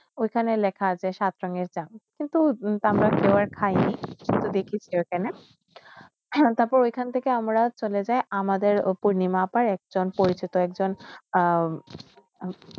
ঐখানে লেখা আসে সাতসঙ্গের সা কিন্তু আমরা খেয়ে নেই দেখিশি ঐখানে তারপর য়ইখানটিকে আমরা সলেজয় আমাদের পূর্ণিমা বার একজন একজ আহ